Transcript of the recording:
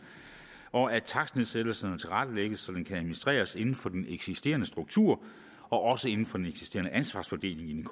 og at takstnedsættelserne tilrettelægges så de kan administreres inden for den eksisterende struktur og også inden for den eksisterende ansvarsfordeling i den